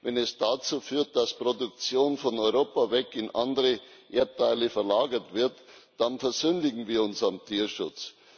Wenn es dazu führt, dass Produktion von Europa weg in andere Erdteile verlagert wird, dann versündigen wir uns am Tierschutz.